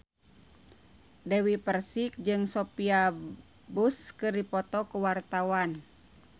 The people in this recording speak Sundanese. Dewi Persik jeung Sophia Bush keur dipoto ku wartawan